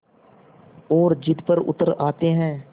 और ज़िद पर उतर आते हैं